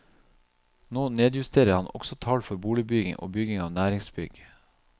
Nå nedjusterer han også tall for boligbygging og bygging av næringsbygg.